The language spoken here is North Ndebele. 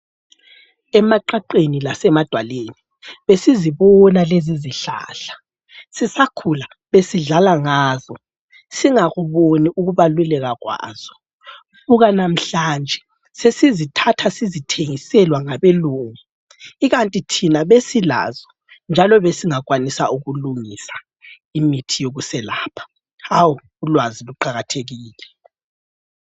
Emaqaqeni lasemadwaleni besizibona lezizihlahla sisakhula besidlala ngazo singakuboni ukubaluleka kwazo. Buka namhlanje sesizithatha sizithengiselwa ngabelungu ikanti thina besilazo njalo besingakwanisa ukulungisa imithi yokuselapha. Hawu ulwazi luqakathekile.